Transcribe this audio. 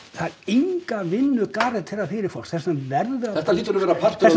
það er enga vinnu garanterað fyrir fólk þess vegna verður að þetta hlýtur að vera partur